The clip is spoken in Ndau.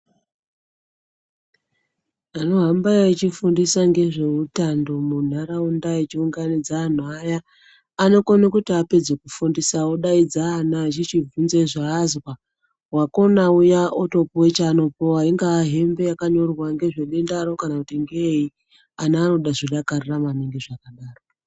Vanohamba wachifundisa ngezvehutano munharaunda echiunganidza anhu aya anokone kuti apedza kufundisa odaidza ana echichi bvunze zvaazwa vakona uya otopuwe chanopuwa ingawa hembe yakanyorwa nezvedendaro kana kuti ngeyi ana anobazvidakarira maningi zvakadaro.